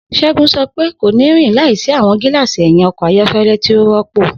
Segun sọ pe, ko ni rin laisi awọn gilaasi ẹhin ọkọ ayọkẹlẹ ti o rọpo.